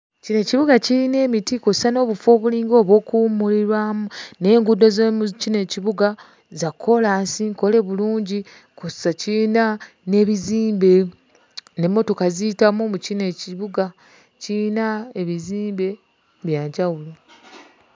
Kino ekibuga kiyina emiti kw'ossa n'obufo obulinga obw'okuwummulirwamu, naye enguudo z'omu kino ekibuga za koolaasi, nkole bulungi kw'ossa kiyina n'ebizimbe n'emmotoka ziyitamu mu kino ekibuga; kiyina ebizimbe bya njawulo.